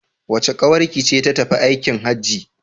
Wace ƙawarki ce ta tafi aikin Hajji?